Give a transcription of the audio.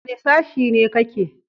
Wane sashi ne ka ke?